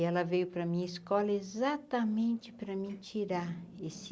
E ela veio para minha escola exatamente para mim tirar esse